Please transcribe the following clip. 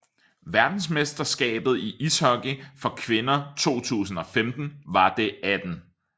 Verdensmesterskabet i ishockey for kvinder 2015 var det 18